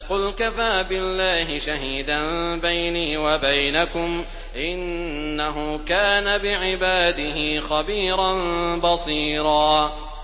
قُلْ كَفَىٰ بِاللَّهِ شَهِيدًا بَيْنِي وَبَيْنَكُمْ ۚ إِنَّهُ كَانَ بِعِبَادِهِ خَبِيرًا بَصِيرًا